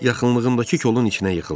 Yaxınlığındakı kolun içinə yıxıldı.